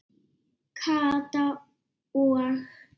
Kata og